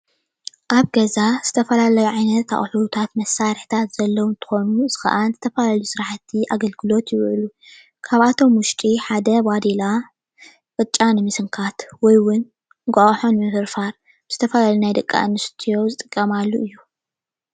ኣብ ገዛ ዝተፈላለዩ ዓይነት ኣቁሕታት መሳርሕታት ዘለዉ እንትኮኑ ንሱ ከዓ ዝተፈላለዩ ስራሕቲ ኣገልግሎት ይውዕሉ፡፡ ካብኣቶም ውሽጢ ሓደ ባዴላ ቅጫ ንምስንካት ወይ እውን እንቋቑሖ ንምፍርፋር ዝተፈላለዩ ናይ ደቂ ኣነስትዮ ዝጥቀማሉ እዩ፡፡